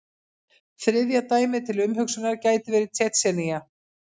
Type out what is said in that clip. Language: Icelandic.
Þriðja dæmið til umhugsunar gæti verið Tsjetsjenía.